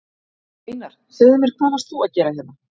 Einar, segðu mér hvað varst þú að gera hérna?